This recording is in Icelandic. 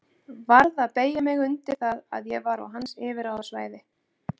Varð að beygja mig undir það að ég var á hans yfirráðasvæði.